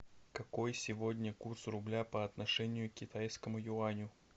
какой сегодня курс рубля по отношению к китайскому юаню